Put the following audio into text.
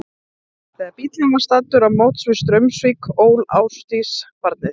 Þegar bíllinn var staddur á móts við Straumsvík ól Ásdís barnið.